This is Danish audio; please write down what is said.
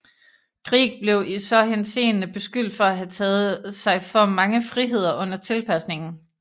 Grieg blev i så henseende beskyldt for at have taget sig for mange friheder under tilpasningen